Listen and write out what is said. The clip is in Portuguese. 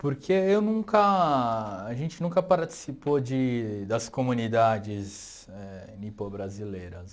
Porque eu nunca, a gente nunca participou de das comunidades éh nipo-brasileiras.